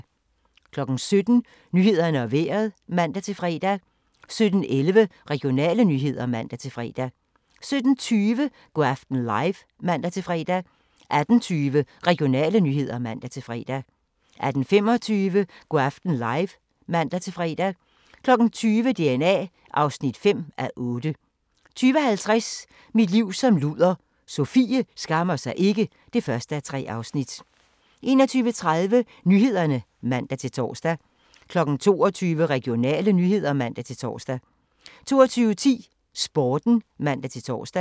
17:00: Nyhederne og Vejret (man-fre) 17:11: Regionale nyheder (man-fre) 17:20: Go' aften live (man-fre) 18:20: Regionale nyheder (man-fre) 18:25: Go' aften live (man-fre) 20:00: DNA (5:8) 20:50: Mit liv som luder - Sofie skammer sig ikke (1:3) 21:30: Nyhederne (man-tor) 22:00: Regionale nyheder (man-tor) 22:10: Sporten (man-tor)